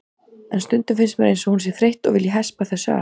En stundum finnst mér eins og hún sé þreytt og vilji hespa þessu af.